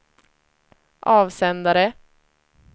avsändare